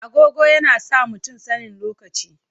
Agogo yana sa mutum sanin lokaci.